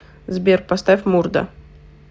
сбер поставь мурда